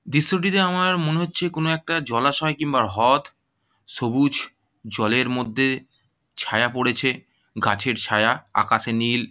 দৃশ্যটিতে আমার মনে হচ্ছে কোনো একটা জলাশয় কিংবা হ্রদ সবুজ জলের মধ্যে ছায়া পড়েছে গাছের ছায়া আকাশে নীল।